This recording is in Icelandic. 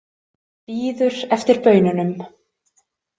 Bíður eftir baununum.